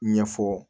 Ɲɛfɔ